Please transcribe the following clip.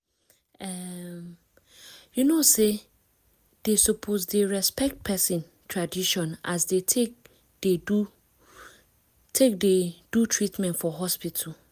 em you know say dey suppose dey respect person tradition as dey take dey do take dey do treatment for hospital